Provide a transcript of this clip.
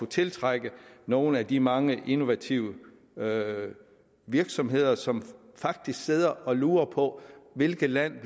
tiltrække nogle af de mange innovative virksomheder som faktisk sidder og lurer på hvilket land